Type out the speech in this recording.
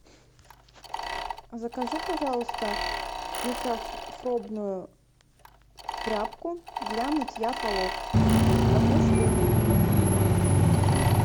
закажи пожалуйста микрофробную тряпку для мытья полов одну штуку